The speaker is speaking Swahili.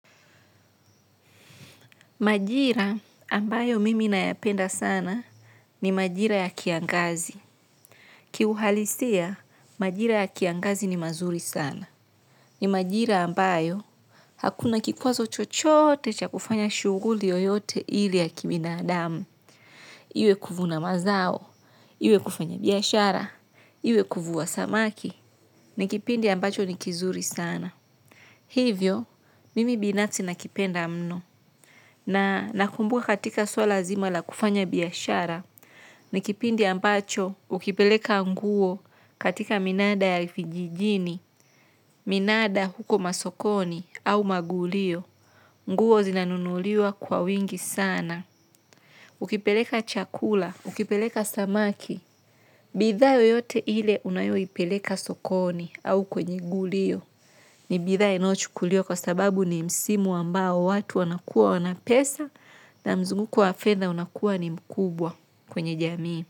Majira ambayo mimi nayapenda sana ni majira ya kiangazi. Kiuhalisia, majira ya kiangazi ni mazuri sana. Ni majira ambayo hakuna kikwazo chochote cha kufanya shuguli yoyote ile ya kibinadamu. Iwe kuvuna mazao, iwe kufanya biashara, iwe kuvua samaki. Ni kipindi ambacho ni kizuri sana. Hivyo, mimi binafsi nakipenda mno. Na nakumbuka katika suala zima la kufanya biashara, ni kipindi ambacho ukipeleka nguo katika minanda ya vijijini, minanda huko masokoni au magulio, nguo zinanunuliwa kwa wingi sana. Ukipeleka chakula, ukipeleka samaki, bidhaa yoyote ile unayoipeleka sokoni au kwenye gulio. Ni bitha inayo chukuliwa kwa sababu ni msimu ambao watu wanakuwa wana pesa na mzunguko wa fedha unakuwa ni mkubwa kwenye jamii.